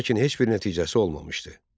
Lakin heç bir nəticəsi olmamışdı.